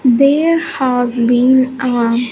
There has been a--